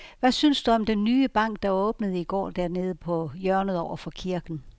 Hvad synes du om den nye bank, der åbnede i går dernede på hjørnet over for kirken?